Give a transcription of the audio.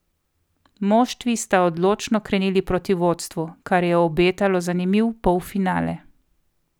Moštvi sta odločno krenili proti vodstvu, kar je obetalo zanimiv polfinale.